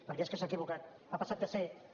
perquè és que s’ha equivocat ha passat de ser un